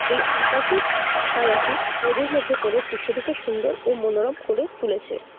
এই আকাশের ছায়াটি নদীর মধ্যে পরে দৃশ্যটিকে সুন্দর ও মনোরম করে তুলেছে।